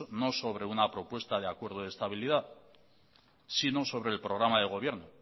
no sobre una propuesta de acuerdo de estabilidad sino sobre el programa de gobierno